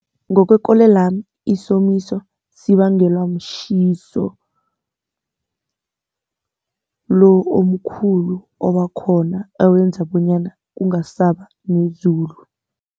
Ngokwekolelwami isomiso sibangelwa mtjhiso, lo omkhulu obakhona owenza bonyana kungasaba nezulu.